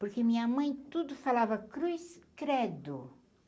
Porque minha mãe tudo falava, cruz credo.